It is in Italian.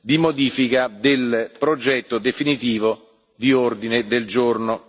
di modifica del progetto definitivo di ordine del giorno.